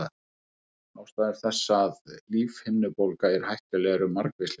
Ástæður þess að lífhimnubólga er hættuleg eru margvíslegar.